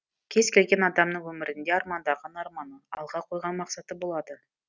кез келген адамның өмірінде армандаған арманы алға қойған мақсаты болады